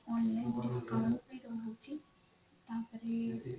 online discount ବି ରହୁଛି ତାପରେ